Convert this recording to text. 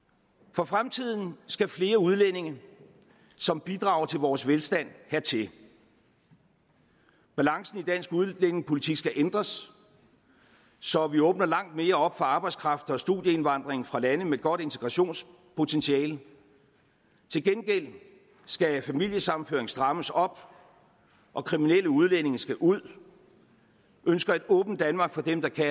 for fremtiden skal flere udlændinge som bidrager til vores velstand hertil balancen i dansk udlændingepolitik skal ændres så vi åbner langt mere op for arbejdskraft og studieindvandring fra lande med et godt integrationspotentiale til gengæld skal familiesammenføringen strammes op og kriminelle udlændinge skal ud vi ønsker et åbent danmark for dem der kan